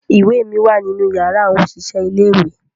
Iwe mi wa ninu yara awọn oṣiṣẹ ile-iwe